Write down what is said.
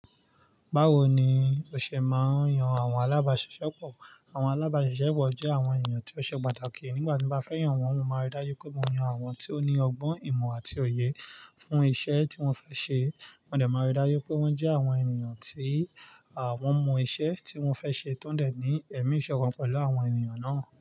Báwo ni o ṣe máa ń yan àwọn alábàáṣiṣẹ́pọ̀? Àwọn alábàáṣiṣẹ́pọ̀ jẹ́ àwọn ènìyàn tí ó ṣe pàtàkì. Nígbà tí mo bá fẹ́ yàn wọ́n, mo máa rí dájú pé mo yan àwọn tí ó ní ọgbọ́n ìmọ̀ àti òye fún iṣẹ́ tí mo fẹ́ ṣe. Mo dẹ̀ máa rí dájú pé wọ́n jẹ́ àwọn ènìyàn tí àwọn mọ iṣẹ́ tí wọ́n fẹ́ ṣe tọ́ń dẹ̀ ní ẹ̀míṣọ̀kan pẹ̀lú àwọn ènìyàn náà.